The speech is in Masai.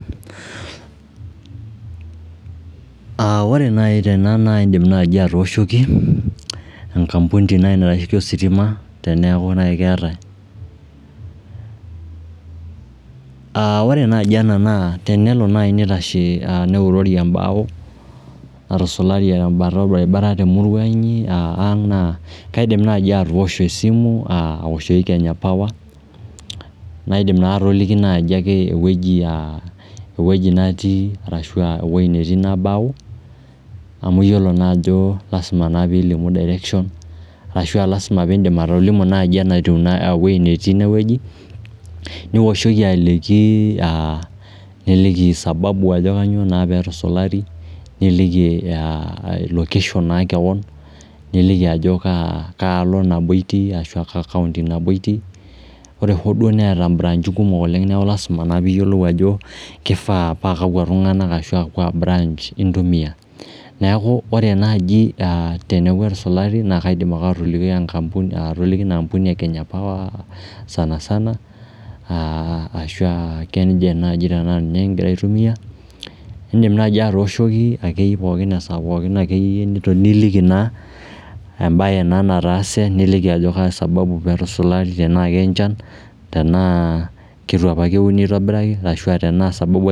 Ore naai tena naa iindim naai atooshoki enkampuni naai naitashiki ositima teneeku naai keetae. Ore naaji ena naa tenelo naai neitashe, neuroori embao natusulaari tembata orbaribara te murwa inyi naa kaidim naai atoosho esimu aa awoshoki Kenya Power naidim atoliki naaji ake ewueji natii arashu ewueji naabau amu iyiolo naa ajo lazima naa piilimu direction ashu aa lazima piindim atolimu naaji ewuei netii ine wueji, niwoshoki aliki aa, niliki sababu ajo kanyoo naa peetusulaari, niliki location naa keon, niliki ajo kaalo nabo itii, kaa County nabo itii. Ore hoo duo neeta imbraanchi kumok oleng neeku lazima naa piiyiolou ajo kifaa paa kakwa tung'anak ashu kaa branch intumia. Neeku ore enaaji teneeku etusulaari nakaidim ake atoliki enkampuni e Kenya Power sana sana ashu aa Kengen naaji tenaa ninye kigira aitumia. Indim naai atooshoki ake pookin esaa pookin akeyie, niliki naa embae naa nataase, niliki ajo kaa sababu pee etusulaari enaaki enchan, tenaa ketu opa euni aitobiraki ashu tenaa sababu ake